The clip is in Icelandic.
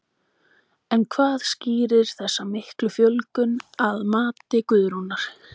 En hvað skýrir þessa miklu fjölgun að mati Guðrúnar?